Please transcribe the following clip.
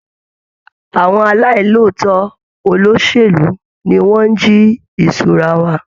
Àwọn aláì lòótọ́ olóṣèlú ni wọ́n ń jí ìṣura wa.